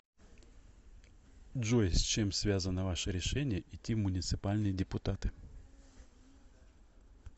джой с чем связано ваше решение идти в муниципальные депутаты